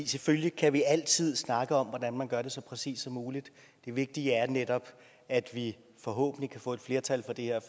selvfølgelig kan vi altid snakke om hvordan man gør det så præcist som muligt det vigtige er netop at vi forhåbentlig kan få et flertal for det her